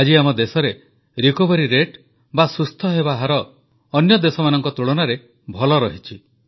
ଆଜି ଆମ ଦେଶରେ ସୁସ୍ଥତା ହାର ଅନ୍ୟ ଦେଶମାନଙ୍କ ତୁଳନାରେ ଭଲ ରହିଛି